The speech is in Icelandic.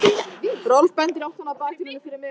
Rolf bendir í áttina að bakdyrunum fyrir miðjum salnum.